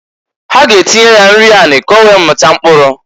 Ha ga-atinye ya nri anị k'owee mịta mkpụrụ.